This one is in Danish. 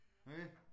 Okay